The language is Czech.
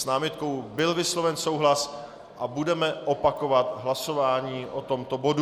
S námitkou byl vysloven souhlas a budeme opakovat hlasování o tomto bodu.